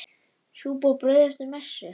Súpa og brauð eftir messu.